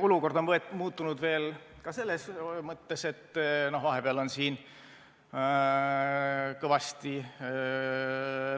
Olukord on muutunud veel ka selles mõttes, et vahepeal on kõvasti